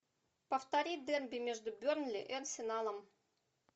повтори дерби между бернли и арсеналом